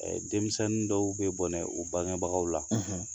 Denmisɛnnin dɔw bɛ bɔnɛ u bangebagaw la